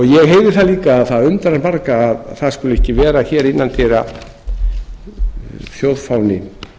ég heyri það líka að það undrar marga að það skuli ekki vera hér innan dyra þjóðfáni